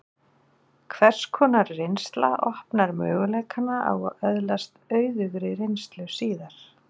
hvers konar reynsla opnar möguleikana á að öðlast auðugri reynslu síðar